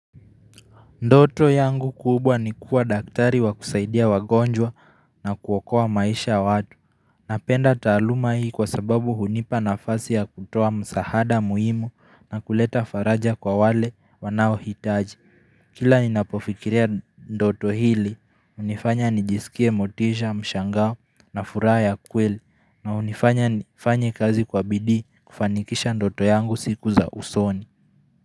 Ndoto yangu kubwa ni kuwa daktari wa kusaidia wagonjwa na kuokoa maisha watu Napenda taaluma hii kwa sababu hunipa nafasi ya kutoa msaada muhimu na kuleta faraja kwa wale wanaohitaji Kila ninapofikiria ndoto hili, hunifanya nijisikie motisha, mshangao na furaha ya kweli na hunifanya nifanye kazi kwa bidii kufanikisha ndoto yangu siku za usoni.